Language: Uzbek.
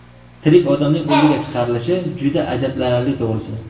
Tirik odamning o‘ldiga chiqarilishi juda ajablanarli, to‘g‘risi.